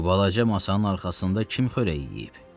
Bu balaca masanın arxasında kim xörək yeyib?